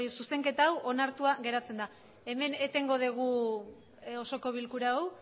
zuzenketa hau onartuta geratzen da hemen etengo dugu osoko bilkura hau